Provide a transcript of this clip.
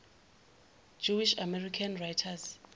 jewish american writers